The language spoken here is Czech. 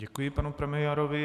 Děkuji panu premiérovi.